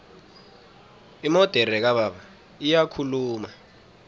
imodere kababa iyakhuluma